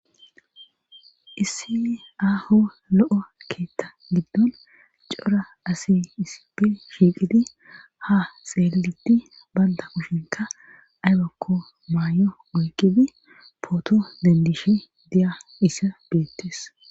Issi aaho lo7o keetta giddon cora asi isipi shiiqidi ha xeeliidi baynda kushinka aybakko maay7o oyqibi pooto dendishe diya issa biettes